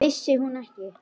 Vissi hún ekki?